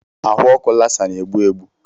Ahụ ọkụ Lassa na-egbu egbu.